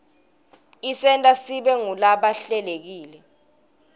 isenta sibe ngulaba hlelekile